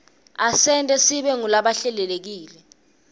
asenta sibe ngulabahlelekile